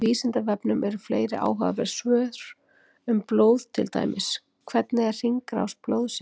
Á Vísindavefnum eru fleiri áhugaverð svör um blóð, til dæmis: Hvernig er hringrás blóðsins?